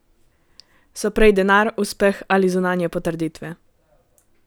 So prej denar, uspeh ali zunanje potrditve?